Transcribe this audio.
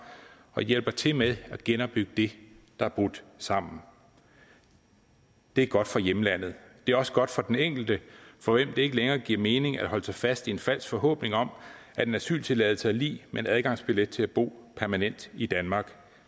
og hjælper til med at genopbygge det der er brudt sammen det er godt for hjemlandet det er også godt for den enkelte for hvem det ikke længere giver mening at holde sig fast i en falsk forhåbning om at en asyltilladelse er lig med en adgangsbillet til at bo permanent i danmark